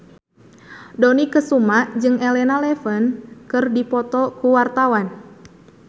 Dony Kesuma jeung Elena Levon keur dipoto ku wartawan